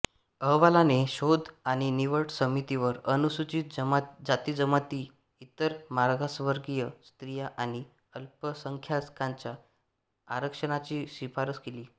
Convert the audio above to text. अहवालाने शोध आणि निवड समितीवर अनुसूचित जातीजमाती इतर मागासवर्गीय स्त्रिया आणि अल्पसंख्याकांच्या आरक्षणाची शिफारस केली